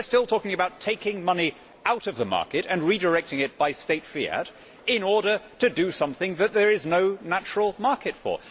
We are still talking about taking money out of the market and redirecting it, by state fiat, in order to do something that there is no natural market for.